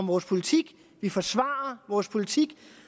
vores politik vi forsvarer vores politik